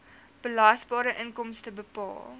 belasbare inkomste bepaal